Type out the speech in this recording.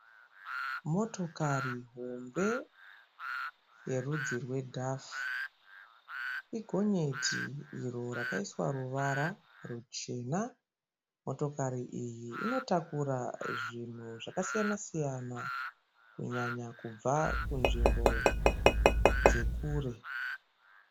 Motokari hombe yerudzi rwedhafu. Igonyeti iro rakaiswa ruvara ruchena. Motokari iyi inotakura zvinhu zvakasiyana-siyana kunyanya kubva kunzvimbo dzekure.